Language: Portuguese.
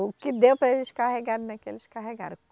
O que deu para eles carregarem é o que eles carregaram.